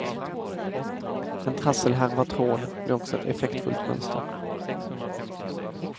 En trasselhärva tråd blir också ett effektfullt mönster.